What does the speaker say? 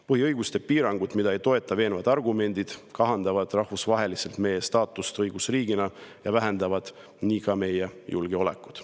Põhiõiguste piirangud, mida ei toeta veenvad argumendid, kahandavad rahvusvaheliselt meie staatust õigusriigina ja vähendavad nii ka meie julgeolekut.